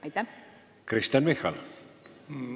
Aitäh, hea juhataja!